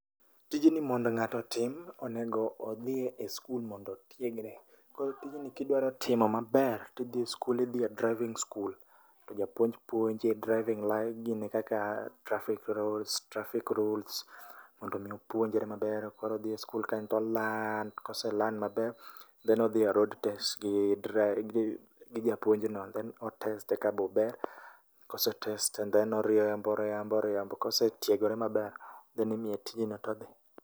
Tijni mondo ngato otim onego odhi e skul mondo otiegre, koro tijni kidwa timo maber tidhiye e skul, idhiye driving school to japuonj puonji driving kaka traffic rules, traffic rules mondo mi opuonjre maber koro odhi e skul kae o learn, kose learn maber then odhie road test gi japuonj no then o teste kabe ober, kose test then oriembo oriembo oriembo, kosetiegore maber then imiye tijno todhi